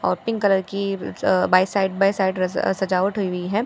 और pink colour की अ बाय साइड बाय साइड सजावट हुई वी हैं।